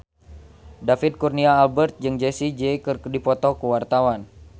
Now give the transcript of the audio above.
David Kurnia Albert jeung Jessie J keur dipoto ku wartawan